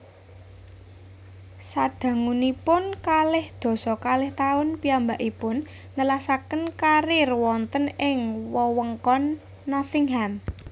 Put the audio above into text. Sadangunipun kalih dasa kalih taun piyambakipun nelasaken kariér wonten ing wewengkon Nottingham